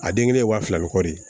A den kelen ye wa fila ni kɔ de ye